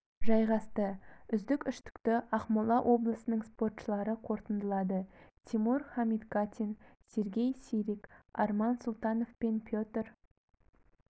жайғасты үздік үштікті ақмола облысының спортшылары қорытындылады тимур хамитгатин сергей сирик арман султанов мен петр